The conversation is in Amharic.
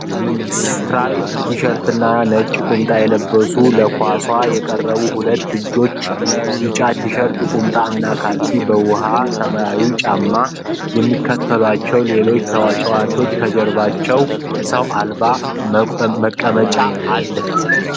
ነጭ በ ቀይ ስትራይፕ ቲሸርት እና ነጭ ቁምጣ የለበሱ ለኳሷ የቀረቡ ሁለት ልጆች ቢጫ ቲሸርት ቁምጣ እና ካልሲ በ ውኃ ሰማያዊ ጫማ የሚከተሏቸው ሌሎች ተጫዋቾች ከጀርባ ሰዎ አልባ መቀመጫ